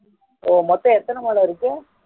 மொத்த எத்தனை மலை இருக்கும்